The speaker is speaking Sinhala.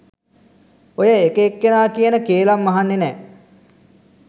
ඔය එක එක්කෙනා කියන කේළම් අහන්නෙ නැ.